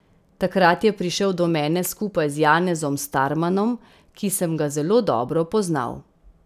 Takrat je prišel do mene skupaj z Janezom Starmanom, ki sem ga zelo dobro poznal.